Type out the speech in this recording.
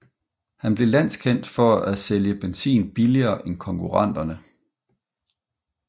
Han blev landskendt for at sælge benzin billigere end konkurrenterne